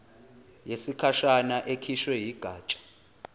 yesikhashana ekhishwe yigatsha